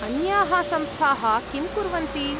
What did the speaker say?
अन्याः संस्थाः किं कुर्वन्ति?